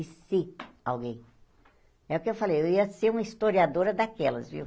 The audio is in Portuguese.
E se alguém... É o que eu falei, eu ia ser uma historiadora daquelas, viu?